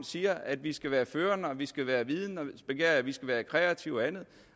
siger at vi skal være førende og vi skal være vidende og vi skal være kreative og andet